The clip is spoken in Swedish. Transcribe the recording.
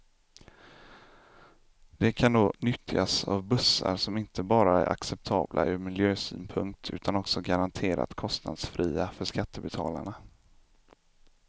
Det kan då nyttjas av bussar som inte bara är acceptabla ur miljösynpunkt utan också garanterat kostnadsfria för skattebetalarna.